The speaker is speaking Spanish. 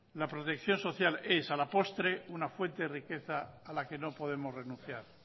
la protección social es a la postre una fuente de riqueza a la que no podemos renunciar